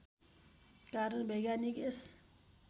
कारण वैज्ञानिक यस